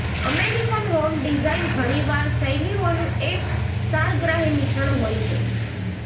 American home design ઘણીવાર શૈલીઓનું એક સારગ્રાહી મિશ્રણ હોય છે